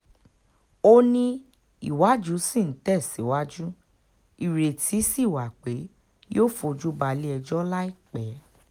ó ní ìwádìí ṣì ń tẹ̀síwájú ìrètí sí wa pé yóò fojú bá ilé-ẹjọ́ láìpẹ́